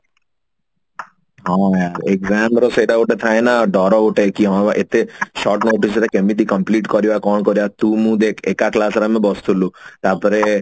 ହଁ ୟାର exam ର ସେଟା ଗୋଟେ ଥାଏନା ଡର ଗୋଟେ କି ହଁ ଏତେ short notice ରେ କେମିତି complete କରିବା କଣ କରିବା ତୁ ମୁଁ ଦେଖ ଏକା class ରେ ଆମେ ବସୁଥିଲୁ ତାପରେ